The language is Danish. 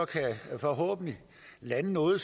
forhåbentlig lande noget